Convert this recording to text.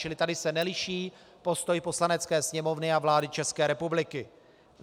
Čili tady se neliší postoj Poslanecké sněmovny a vlády České republiky.